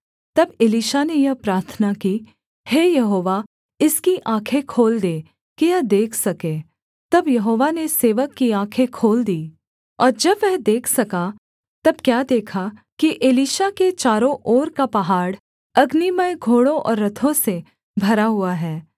तब एलीशा ने यह प्रार्थना की हे यहोवा इसकी आँखें खोल दे कि यह देख सके तब यहोवा ने सेवक की आँखें खोल दीं और जब वह देख सका तब क्या देखा कि एलीशा के चारों ओर का पहाड़ अग्निमय घोड़ों और रथों से भरा हुआ है